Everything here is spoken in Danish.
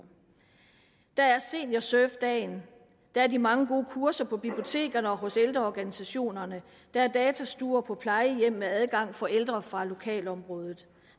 der er seniorsurfdagen der er de mange gode kurser på bibliotekerne og hos ældreorganisationene der er datastuer på plejehjem med adgang for ældre fra lokalområdet